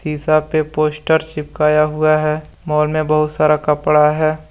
शीशा पे पोस्टर चिपकाया हुआ है। मॉल में बहुत सारा कपड़ा है।